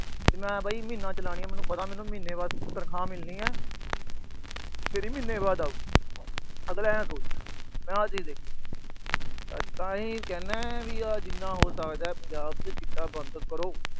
ਮੈਂ ਵੀ ਮਹੀਨਾ ਚਲਾਣੀ ਏ, ਮੈਨੂੰ ਮਹੀਨੇ ਬਾਅਦ ਤਨਖਾਹ ਮਿਲਣੀ ਆ। ਮੇਰੀ ਮਹੀਨੇ ਬਾਅਦ ਆਓ। ਅਗਲਾ ਆਏ ਸੋਚਦਾ। ਮੈਂ ਆਹ ਚੀਜ ਦੇਖੀ ਆ। ਤਾਂ ਹੀ ਮੈਂ ਕਹਿੰਦਾ ਆ ਜਿੰਨਾ ਹੋ ਸਕਦਾ ਪੰਜਾਬ ਚ ਚਿੱਟਾ ਬੰਦ ਕਰੋ।